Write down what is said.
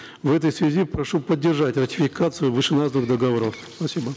в этой связи прошу поддержать ратификацию вышеназванных договоров спасибо